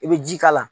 I bɛ ji k'a la